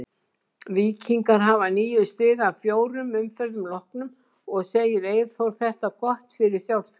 Víkingar hafa níu stig af fjórum umferðum loknum og segir Eyþór þetta gott fyrir sjálfstraustið.